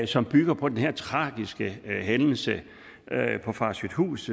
som bygger på den her tragiske hændelse på farsøhthus